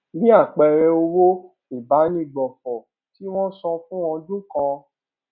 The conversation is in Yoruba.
bí àpẹẹrẹ owó ìbánigbófò tí wón san fún ọdún kan